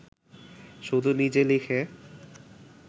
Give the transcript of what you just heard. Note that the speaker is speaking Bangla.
শুধু নিজে লিখে